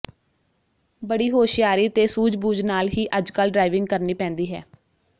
ਬੜੀ ਹੋਸ਼ਿਆਰੀ ਤੇ ਸੂਝਬੂਝ ਨਾਲ ਹੀ ਅੱਜਕੱਲ ਡਰਾਈਵਿੰਗ ਕਰਨੀ ਪੈਂਦੀ ਹੈ